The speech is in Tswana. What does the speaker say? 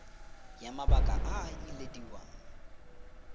ya mabaka a a ilediwang